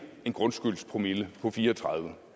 grundskyldspromille på fire og tredive